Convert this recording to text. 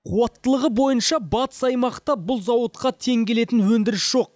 қуаттылығы бойынша батыс аймақта бұл зауытқа тең келетін өндіріс жоқ